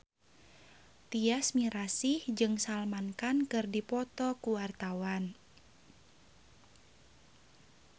Tyas Mirasih jeung Salman Khan keur dipoto ku wartawan